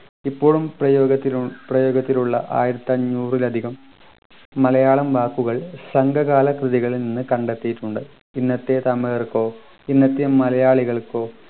ഇപ്പോളും പ്രയോഗത്തിലു പ്രയോഗത്തിലുള്ള ആയിരത്തിഅഞ്ഞൂറിലധികം മലയാളം വാക്കുകൾ സംഘകാല കൃതികളിൽ നിന്ന് കണ്ടെത്തിയിട്ടുണ്ട് ഇന്നത്തെ തമിഴർക്കോ ഇന്നത്തെ മലയാളികൾക്കോ